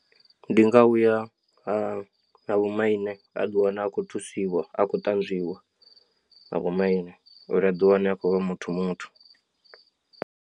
Ndi nga uya ha vho maine a ḓiwana a khou thusiwa a khou ṱanzwiwa nga vho maine uri aḓiwane akho vha muthu muthu.